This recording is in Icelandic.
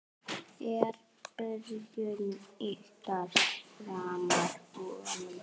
Er byrjun ykkar framar vonum?